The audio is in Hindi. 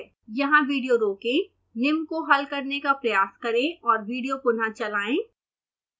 यहाँ विडियो रोकें निम्न को हल करने का प्रयास करें और विडियो पुनः चलाएं